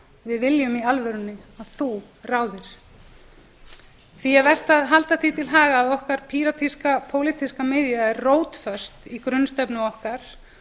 við viljum í alvörunni að þú ráðir því er vert að halda því til haga að okkar píratíska pólitíska miðja er rótföst í grunnstefnu okkar